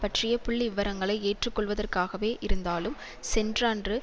பற்றிய புள்ளி விவரங்களை ஏற்றுக்கொள்வதற்காகவே இருந்தாலும் சென்றண்டு